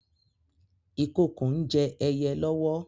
Ìkokò ń jẹ ẹyẹ lọ́wọ́.